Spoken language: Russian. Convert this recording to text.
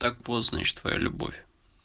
так вот значит твоя любовь